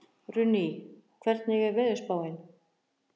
Runný, hvernig er veðurspáin?